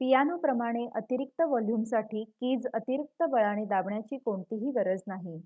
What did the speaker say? पियानोप्रमाणे अतिरिक्त वॉल्युमसाठी कीज अतिरिक्त बळाने दाबण्याची कोणतीही गरज नाही